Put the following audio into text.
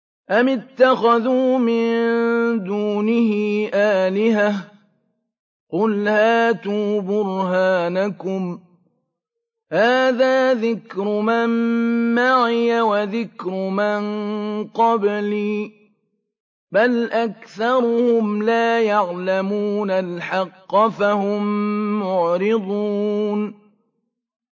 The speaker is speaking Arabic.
أَمِ اتَّخَذُوا مِن دُونِهِ آلِهَةً ۖ قُلْ هَاتُوا بُرْهَانَكُمْ ۖ هَٰذَا ذِكْرُ مَن مَّعِيَ وَذِكْرُ مَن قَبْلِي ۗ بَلْ أَكْثَرُهُمْ لَا يَعْلَمُونَ الْحَقَّ ۖ فَهُم مُّعْرِضُونَ